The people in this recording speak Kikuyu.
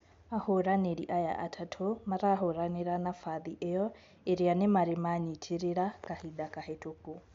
Ahũranirĩ aya atatũ, marahũranira nafathi iyo iria nimari manyitirira kahinda kahitũku.